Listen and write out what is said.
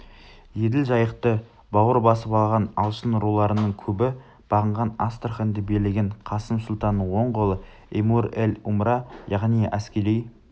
еділ жайықты бауыр басып алған алшын руларының көбі бағынған астраханьды билеген қасым сұлтанның оң қолы эмир-эль-умра яғни әскери